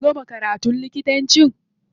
Ka gama karatun likitanci?